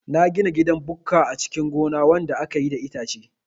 Na gina gidan bukka a cikin gona wanda akayi da itace